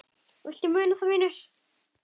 Viltu muna það, vinur?